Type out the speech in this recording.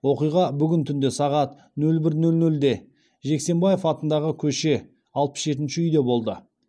оқиға бүгін түнде сағат нөл бір нөл нөлде жексенбаев атындағы көше алпыс жетінші үйде болды